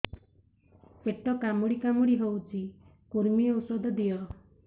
ପେଟ କାମୁଡି କାମୁଡି ହଉଚି କୂର୍ମୀ ଔଷଧ ଦିଅ